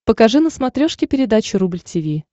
покажи на смотрешке передачу рубль ти ви